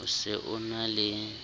o se o na le